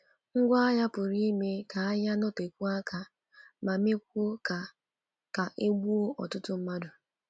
Ngwá agha pụrụ ime ka agha nọtekwuo aka ma mekwuo ka ka e gbuo ọtụtụ mmadụ.